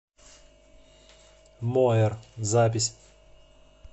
моер запись